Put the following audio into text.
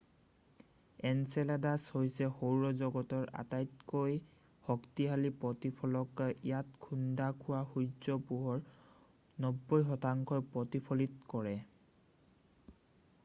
Enceladus হৈছে সৌৰ জগতৰ আটাইতকৈ শক্তিশালী প্ৰতিফলক ইয়াত খুন্দা খোৱা সূৰ্যৰ পোহৰৰ 90শতাংশ ই প্ৰতিফলিত কৰে